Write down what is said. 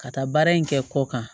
Ka taa baara in kɛ kɔ kan